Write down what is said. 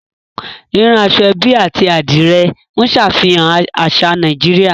Rírán aṣọ-ẹ́bí àti Adìrẹ̀ ń ṣàfihàn àṣà Nàìjíríà